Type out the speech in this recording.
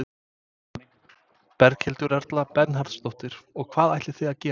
Berghildur Erla Bernharðsdóttir: Og hvað ætlið þið að gera?